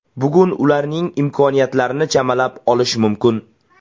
Bugun ularning imkoniyatlarini chamalab olish mumkin.